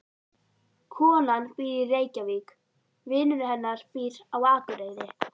Konan býr í Reykjavík. Vinur hennar býr á Akureyri.